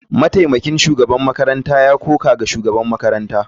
Mataimakin shugaban makarantar ya koka ga shugaban makarantar.